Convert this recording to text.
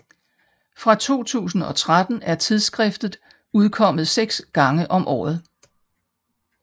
Fra 2013 er tidsskriftet udkommet seks gange om året